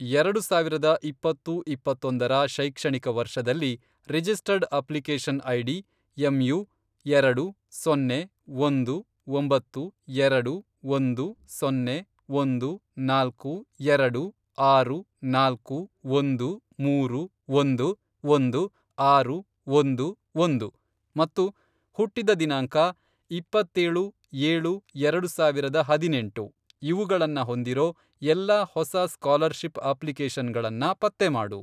ಎರಡು ಸಾವಿರದ ಇಪ್ಪತ್ತು, ಇಪ್ಪತ್ತೊಂದರ, ಶೈಕ್ಷಣಿಕ ವರ್ಷದಲ್ಲಿ, ರಿಜಿಸ್ಟರ್ಡ್ ಅಪ್ಲಿಕೇಷನ್ ಐಡಿ, ಎಮ್ಯು, ಎರಡು, ಸೊನ್ನೆ, ಒಂದು, ಒಂಬತ್ತು, ಎರಡು, ಒಂದು, ಸೊನ್ನೆ, ಒಂದು, ನಾಲ್ಕು, ಎರಡು, ಆರು, ನಾಲ್ಕು, ಒಂದು, ಮೂರು, ಒಂದು, ಒಂದು, ಆರು, ಒಂದು, ಒಂದು, ಮತ್ತು ಹುಟ್ಟಿದ ದಿನಾಂಕ, ಇಪ್ಪತ್ತೇಳು, ಏಳು, ಎರಡು ಸಾವಿರದ ಹದಿನೆಂಟು, ಇವುಗಳನ್ನ ಹೊಂದಿರೋ ಎಲ್ಲಾ ಹೊಸ ಸ್ಕಾಲರ್ಷಿಪ್ ಅಪ್ಲಿಕೇಷನ್ಗಳನ್ನ ಪತ್ತೆ ಮಾಡು.